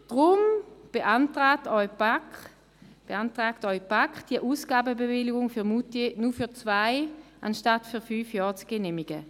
Deshalb beantragt Ihnen die BaK, die Ausgabenbewilligung für Moutier nur für zwei anstatt für fünf Jahre zu genehmigen.